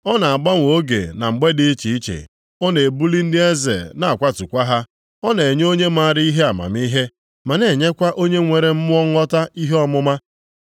Ọ na-agbanwe oge na mgbe dị iche iche; Ọ na-ebuli ndị eze na-akwatụkwa ha. Ọ na-enye onye maara ihe amamihe, ma na-enyekwa onye nwere mmụọ nghọta ihe ọmụma.